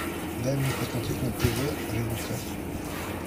дай мне посмотреть на тв рбк